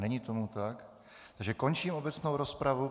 Není tomu tak, takže končím obecnou rozpravu.